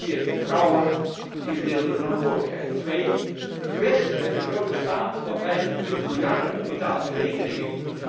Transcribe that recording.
We willen meer vertrouwen en gedeelde verantwoordelijkheid. 2. Weg met die grote stapel van 25 miljard aan onbetaalde rekeningen.